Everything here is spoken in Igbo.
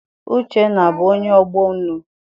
Uchenna abụ onye ọgbọ unu?